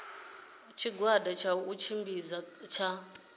tshigwada tsha u tshimbidza tsha